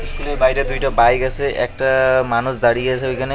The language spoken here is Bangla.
ইস্কুলের বাইরে দুইটা বাইক আছে একটা মানুষ দাঁড়িয়ে আছে ওইখানে।